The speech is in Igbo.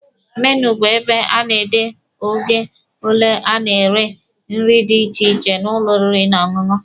Menu bụ ebe a na-ede oge ole a na-ere nri dị iche iche n'ụlọ oriri na ọṅụṅụ.